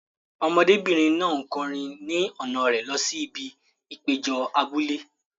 Ọmọdébìnrin náà ń kọrin ni ọ̀nà rẹ̀ lọ sí ibi ìpéjọ abúlé.